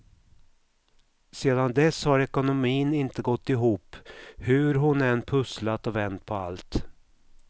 Sedan dess har ekonomin inte gått ihop hur hon än pusslat och vänt på allt.